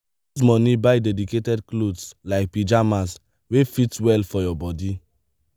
use money buy dedicated clothes like pyjamas wey fit well for body